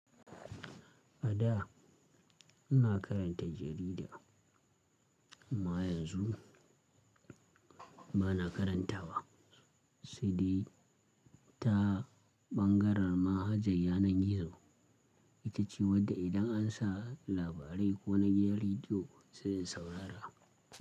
A da ina karanta jarida amma yanzu ba na karanta wa. Saidai ta ɓangaren manhajar yanar gizo itace wadda idan an sa labarai ko na gidan radio sai in saurara.